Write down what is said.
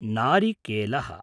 नारिकेलः